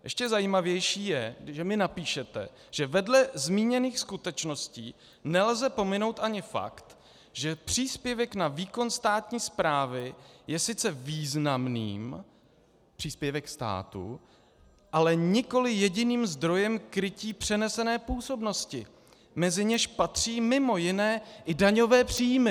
Ještě zajímavější je, že mi napíšete, že vedle zmíněných skutečností nelze pominout ani fakt, že příspěvek na výkon státní správy je sice významným, příspěvek státu, ale nikoli jediným zdrojem krytí přenesené působnosti, mezi něž patří mimo jiné i daňové příjmy.